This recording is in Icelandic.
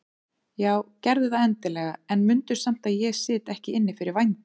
Já gerðu það endilega en mundu samt að ég sit ekki inni fyrir vændi.